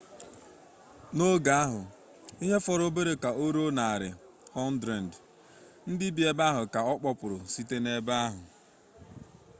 n'oge ahụ ihe fọrọ obere ka o ruo 100 ndị bi ebe ahụ ka a kpọkpụrụ site n'ebe ahụ